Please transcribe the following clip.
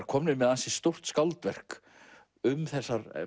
komnir með ansi stórt skáldverk um þessar